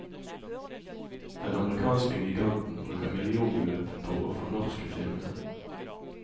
Den amerikanske giganten bruker millionbeløp på å fornorske filmene.